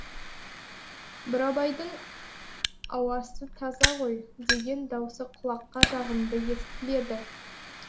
бурабайдың ауасы таза ғой деген даусы құлаққа жағымды естіледі